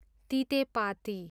तितेपाती